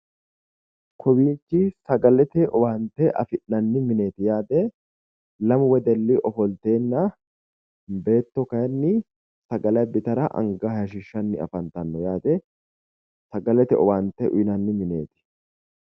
Kowiichi sagalete owaante afi'nanni mineeti yaate lamu wedelli ofolteenna beetto kayiinni sagale abbitara anga hayishshiishshanni afantanno yaate sagalete owaante uyiinanni mineeti